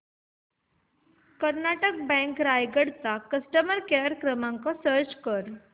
Karnataka bank Raigad चा customer care क्रमांक search कर